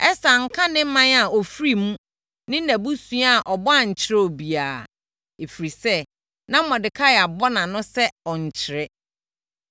Ɛster anka ne ɔman a ɔfiri mu ne nʼabusua a ɔbɔ ankyerɛ obiara, ɛfiri sɛ na Mordekai abɔ nʼano sɛ ɔnnkyerɛ.